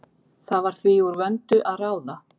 Það var því úr vöndu að ráða.